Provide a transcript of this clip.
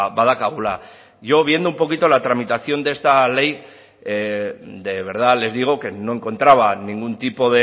badaukagula yo viendo un poquito la tramitación de esta ley de verdad les digo que no encontraba ningún tipo